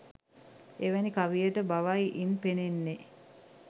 එවැනි කවියට බවයි ඉන් පෙනෙන්නේ.